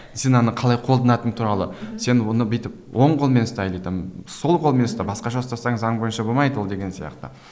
сен оны қалай қолданатын туралы сен оны бүйтіп оң қолымен ұста или там сол қолмен ұста басқаша ұстасаң заң бойынша болмайды ол деген сияқты